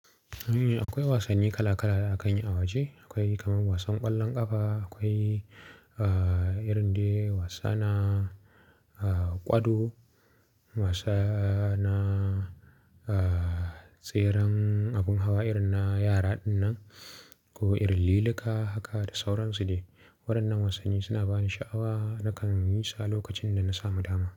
Eh akwai wasanni kala kala da akanyi a waje, akwai kaman wasan ƙwallon ƙafa, akwai A irin dai wasa na A ƙwado, wasa na A tseren abun hawa irin na yara dinnan ko irin liluka haka da sauransu dai. Waɗannan wasanni suna bani sha'awa nakan yisu a lokacin dana samu dama.